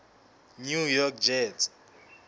new york jets